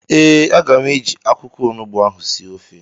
ee, aga m eji akwụkwọ onugbu ahụ sie ofe